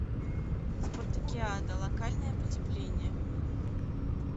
спартакиада локальное потепление